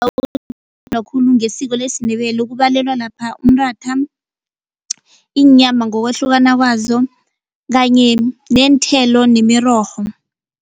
Khulu ngesiko lesiNdebele ukubalelwa lapha umratha, iinyama ngokwahlukana kwazo kanye neenthelo nemirorho.